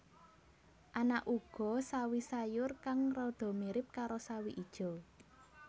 Ana uga sawi sayur kang rada mirip karo sawi ijo